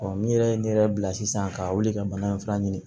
min yɛrɛ ye ne yɛrɛ bila sisan ka wuli ka bana in fana ɲini